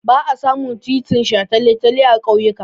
Ba a samun titin shataletale a ƙauyuka.